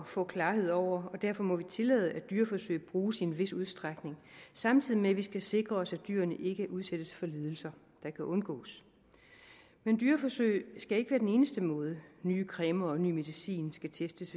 få klarhed over og derfor må vi tillade at dyreforsøg bruges i en vis udstrækning samtidig med at vi skal sikre os at dyrene ikke udsættes for lidelser der kunne undgås men dyreforsøg skal ikke være den eneste måde nye cremer og ny medicin skal testes